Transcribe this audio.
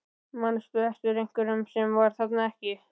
Manstu eftir einhverjum sem var þarna ekki?